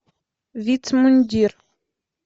вицмундир